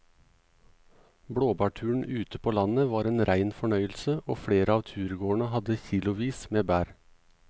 Blåbærturen ute på landet var en rein fornøyelse og flere av turgåerene hadde kilosvis med bær.